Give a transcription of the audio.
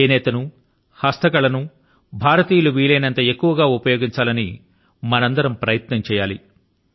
చేనేత ను హస్తకళ ను భారతీయులు వీలైనంత ఎక్కువ గా ఉపయోగించాలని మనందరం ప్రయత్నం చేయాలి